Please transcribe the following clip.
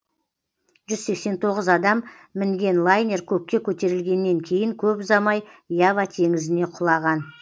жүз сексен тоғыз адам мінген лайнер көкке көтерілгеннен кейін көп ұзамай ява теңізіне құлаған